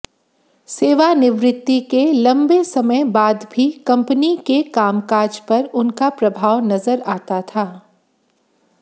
सेवानिवृत्ति के लंबे समय बाद भी कंपनी के कामकाज पर उनका प्रभाव नजर आता था